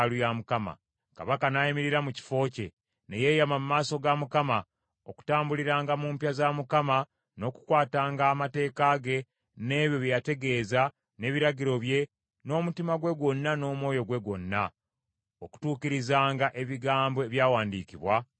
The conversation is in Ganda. Kabaka n’ayimirira mu kifo kye, ne yeeyama mu maaso ga Mukama , okutambuliranga mu mpya za Mukama n’okukwatanga amateeka ge, n’ebyo bye yategeeza, n’ebiragiro bye, n’omutima gwe gwonna n’omwoyo gwe gwonna, okutuukirizanga ebigambo ebyawandiikibwa mu kitabo.